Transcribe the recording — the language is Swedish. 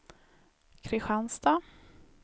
Kristianstad